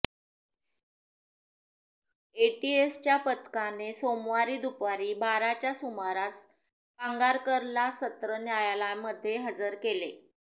एटीएसच्या पथकाने सोमवारी दुपारी बाराच्या सुमारास पांगारकरला सत्र न्यायालयामध्ये हजर केले